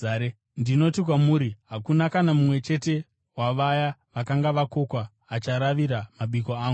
Ndinoti kwamuri, hakuna kana mumwe chete wavaya vakanga vakokwa acharavira mabiko angu.’ ”